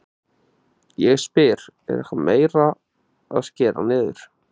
Ég spyr, er eitthvað meira að skera niður?